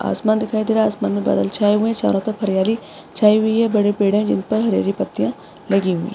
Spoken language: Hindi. आसमान दिखाई दे रहा है आसमान मै बादल छाए हुए है चारो तरफ हरियाली छाई हुई है बड़े पेड़ है जिनपर हरी हरी पत्तियां लगी हुई है।